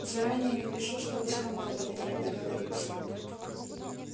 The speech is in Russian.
заранее напиши чтобы с командованием договориться